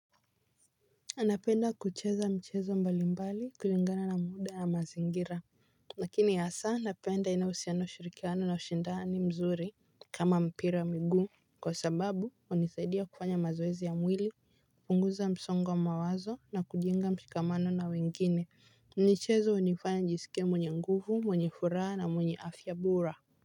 Napenda kucheza michezo mbalimbali kulingana na muda ya mazingira. Lakini hasaa, napenda inayouhusiano, ushirikiano na ushindani mzuri kama mpira ya miguu kwa sababu hunisaidia kufanya mazoezi ya mwili, kupunguza msongwa mawazo na kujenga mshikamano na wengine ni chezo hunifanya njisike mwenye nguvu, mwenye furaha na mwenye afya bora.